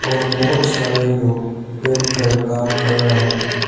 और बहुत सारे लोग बैठकर काम कर रहा है।